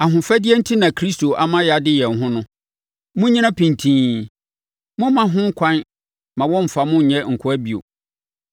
Ahofadie enti na Kristo ama yɛade yɛn ho no. Monnyina pintinn. Mommma ho ɛkwan mma wɔmmfa mo nnyɛ nkoa bio.